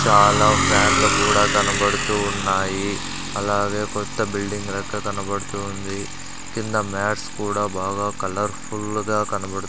చాలా ఫ్యాన్లు కూడా కనబడుతూ ఉన్నాయి అలాగే కొత్త బిల్డింగ్ రెక్క కనబడుతుంది కింద మ్యాట్స్ కూడా బాగా కలర్ ఫుల్ గా కనబడు.